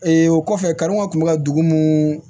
o kɔfɛ kanw kun bɛ ka dugu mun